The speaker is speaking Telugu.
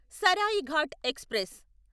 సరాయిఘాట్ ఎక్స్ప్రెస్